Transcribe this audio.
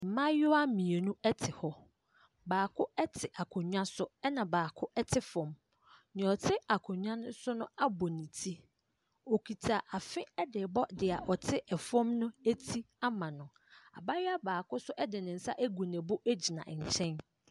Mmayewa mmienu te hɔ. Baako te akonnwa so ɛnna baako te fam. Nea ɔte akonnwa no so no abɔ ne ti. Ɔkita afe de rebɔ deɛ ɔte fam no ti ama no. abayewa baako nso de ne nsa agu ne bo gyina nkyɛn.